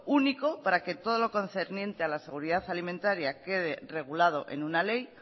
único para que todo lo concerniente a la seguridad alimentaria quede regulado en una ley